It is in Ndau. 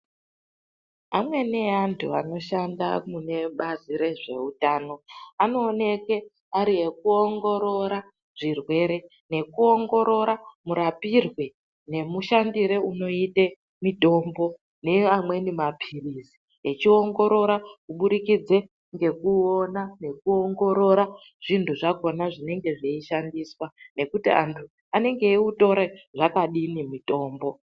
Amene antu anoshanda munebazi rezveutano anooneke ari ekuongorora zvirwere nekuongorora murapirwe nemushandire unekuite mitombo neamweni mapiritsi echiwongorora kuburikidze ngekuona nekuongorora zvindu zvakona zvechishandiswa nekuti andu anenge ebutora zvakadini mitombo